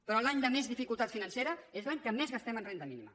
però l’any de més dificultat financera és l’any que més gastem en renda mínima